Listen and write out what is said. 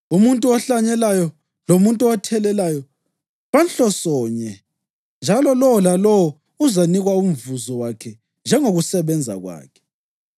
Umuntu ohlanyelayo lomuntu othelelayo banhlosonye, njalo lowo lalowo uzanikwa umvuzo wakhe njengokusebenza kwakhe.